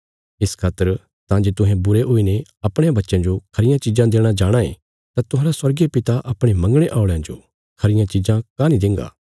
इस खातर तां जे तुहें बुरे हुईने अपणयां बच्चयां जो खरियां चिज़ां देणा जाणाँ ये तां तुहांरा स्वर्गीय पिता अपणे मंगणे औल़यां जो खरियां चिज़ां काँह नीं देंगा